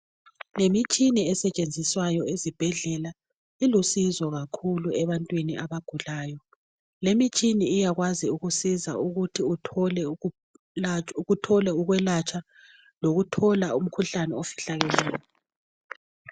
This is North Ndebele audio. Imitshina esetshenziswa ezibhedlela ilusizo kakhulu ebantwini abagulayo ,lemitshina iyakwazi ukusiza ukuthi uthole ukulatshwa lokuthola umkhuhlane ofihlakeleyo.